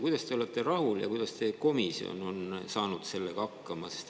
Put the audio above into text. Kuidas te olete sellega rahul ja kuidas teie komisjon sellega hakkama saab?